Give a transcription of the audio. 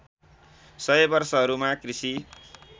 १०० वर्षहरूमा कृषि